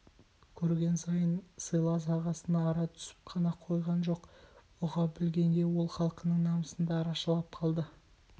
көрген сыйлас ағасына ара түсіп қана қойған жоқ ұға білгенге ол халқының намысын да арашалап қалды